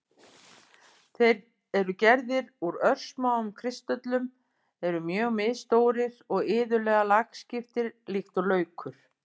Þeir eru gerðir úr örsmáum kristöllum, eru mjög misstórir og iðulega lagskiptir líkt og laukur.